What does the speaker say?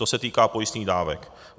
To se týká pojistných dávek.